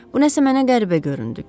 Bu nəsə mənə qəribə göründü.